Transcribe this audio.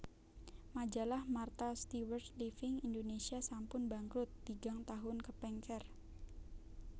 Majalah Martha Stewart Living Indonesia sampun bangkrut tigang tahun kepengker